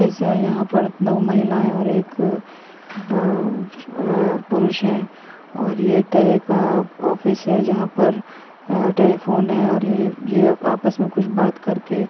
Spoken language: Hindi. स यहाँ पर दो महिलायें और एक अं-अं पुरुष है और यह एक तए का ऑफिस है जहां पर अं-टेलीफोन है और ये-ये आपस में कुछ बात करके --